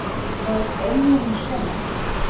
Verðið þið svo í Eyjum í sumar?